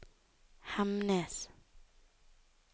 Hemnes